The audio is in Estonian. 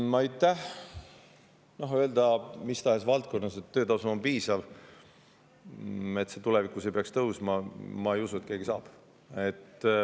No ma ei usu, et keegi saab mis tahes valdkonnas öelda, et töötasu on piisav ja see ei peaks tulevikus tõusma.